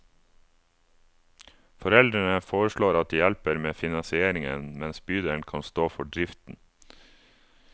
Foreldrene foreslår at de hjelper med finansieringen, mens bydelen kan stå for driften.